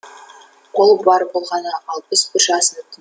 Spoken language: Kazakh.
ол бар болғаны алпыс бір жасында